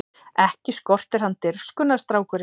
Ekki skortir hann dirfskuna strákinn!